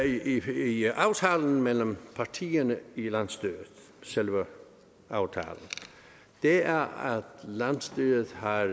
i aftalen mellem partierne i landsstyret selve aftalen er at landsstyret har